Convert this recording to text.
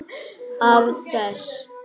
Af þess